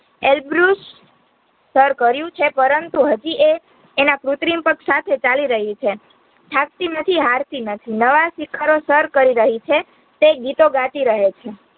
Elbrus સર કર્યું છે પરંતુ, હજી એ એના કૃત્રિમ પગ સાથે ચાલી રહીછે થાકતી નથી, હરતી નથી, નવા શિખરો સર કરી રહીછે, તે ગીતો ગાતી રહે છે